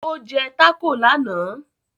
Ó jẹ́ tákò lánàá